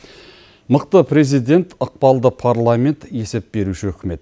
мықты президент ықпалды парламент есеп беруші үкімет